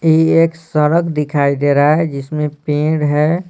ये एक सड़क दिखाई दे रहा है जिसमें पेड़ है।